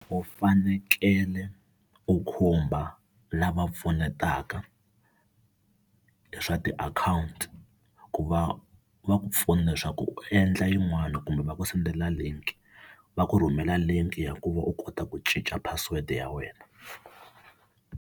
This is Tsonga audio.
U fanekele u khumba lava pfunetaka hi swa tiakhawunti ku va va ku pfuna leswaku u endla yin'wana kumbe va ku sendela link, va ku rhumela link ya ku va u kota ku cinca password ya wena.